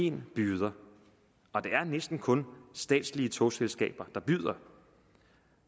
en byder og det er næsten kun statslige togselskaber der byder